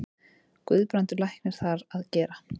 Guðbrandur læknir þar að gera.